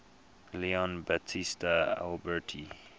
leon battista alberti